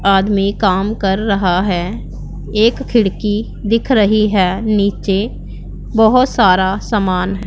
आदमी काम कर रहा है एक खिड़की दिख रही है नीचे बहोत सारा सामान--